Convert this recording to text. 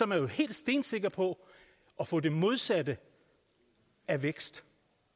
man helt stensikker på at få det modsatte af vækst